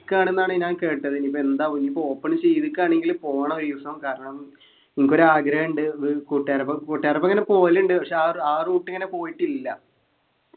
ക്കാണ്ന്നാണ് ഞാൻ കേട്ടത് ഇനിയിപ്പോ എന്താവു ഇനിയിപ്പോ open ചെയ്ത്ക്കാണെങ്കില് പോണം ഒരു ദിവസം കാരണം എനിക്കൊരു ആഗ്രഹണ്ട് ഏർ കൂട്ടുകാരൊപ്പം കൂട്ടുകാരൊപ്പം ഇങ്ങനെ പോകലുണ്ട് പക്ഷെ ആ ആ route ഇങ്ങനെ പോയിട്ടില്ല